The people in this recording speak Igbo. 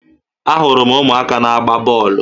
Ahụrụ m ụmụaka na-agba bọọlụ